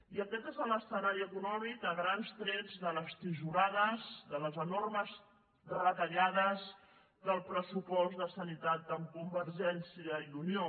i aquest és l’escenari econòmic a grans trets de les tisorades de les enormes retallades del pressupost de sanitat amb convergència i unió